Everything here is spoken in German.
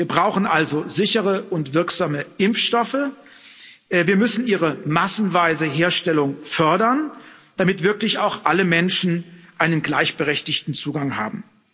Wir brauchen also sichere und wirksame Impfstoffe, wir müssen ihre massenweise Herstellung fördern, damit wirklich auch alle Menschen einen gleichberechtigten Zugang haben.